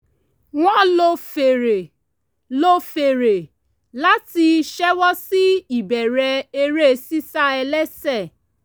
wọ́n lo fèrè lo fèrè láti ṣẹ́wọ́ sí ìbẹ̀rẹ̀ eré sísá ẹlẹ́sẹ̀